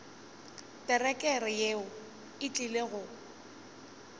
terekere yeo e tlile go